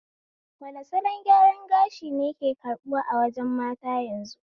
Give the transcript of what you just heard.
Wane salon gyaran gashi ne ke karbuwa a wajen mata yanzu?